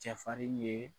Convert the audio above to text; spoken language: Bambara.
Cɛfarin ye